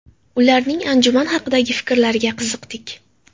Ularning anjuman haqidagi fikrlariga qiziqdik.